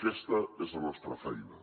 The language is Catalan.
aquesta és la nostra feina